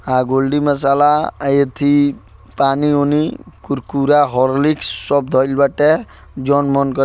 आ गोलडी मसाला अये थी पानी-वानी कुरकुरा हॉर्लिक्स सब दही वाटे जो मन करे।